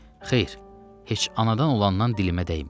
Xeyr, heç anadan olandan dilimə dəyməyib.